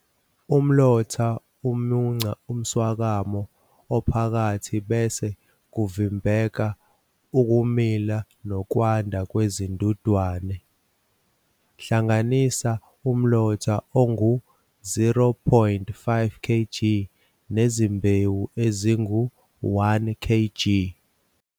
Umlotha umunca umswakamo ophakathi bese kuvimbeka ukumila nokwanda kwezindudwane. Hlanganisa umlotha ongu-0,5 kg nezimbewu ezingu-1 kg.